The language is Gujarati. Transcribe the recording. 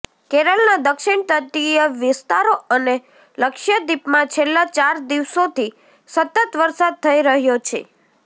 કેરળના દક્ષિણ તટીય વિસ્તારો અને લક્ષદ્વીપમાં છેલ્લા ચાર દિવસોથી સતત વરસાદ થઈ રહ્યો છે